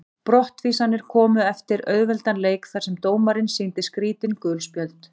Brottvísanirnar komu eftir auðveldan leik þar sem dómarinn sýndi skrítin gul spjöld.